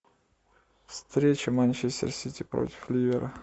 встреча манчестер сити против ливера